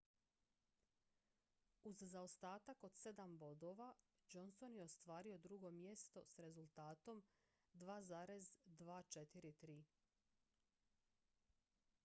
uz zaostatak od sedam bodova johnson je ostvario drugo mjesto s rezultatom 2,243